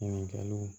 Ɲininkaliw